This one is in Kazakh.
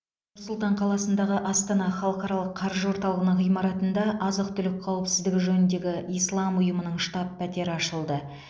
нұр сұлтан қаласындағы астана халықаралық қаржы орталығының ғимаратында азық түлік қауіпсіздігі жөніндегі ислам ұйымының штаб пәтері ашылды